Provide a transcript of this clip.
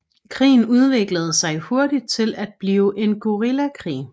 Krigen udviklede sig hurtigt til at blive en guerillakrig